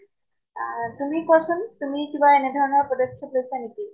আহ তুমি কোৱাচোন তুমি কিবা এনে ধৰণৰ পদক্ষেপ লৈছা নেকি?